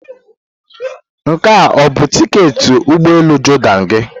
Nke a ọ bụ tiketi ụgbọ elu Jordan gị?